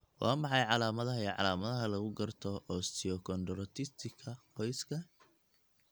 Waa maxay calaamadaha iyo calaamadaha lagu garto osteochondritiska qoyska?